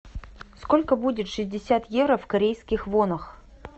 сколько будет шестьдесят евро в корейских вонах